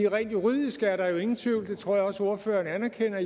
rent juridisk er der jo ingen tvivl og det tror jeg også ordføreren anerkender